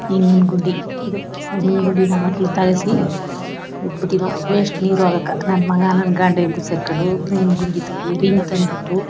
ಇಂಗಿನ್ ಗುಡ್ಡಿ ಇದು ಇಂಗಿನ್ ಗುಡ್ಡಿ ವೇಸ್ಟ್ ನೀರು ಆಗೋಕೂ ನನ್ ಮಗ ನನ್ ಗಂಡ ಇಬ್ರು ಸೇರ್ಕೊಂಡು ಇಂಗಿನ್ ಗುಡ್ಡಿ ತೊಡೀವಿ ಅಂದ್ಬಿಟ್ಟು--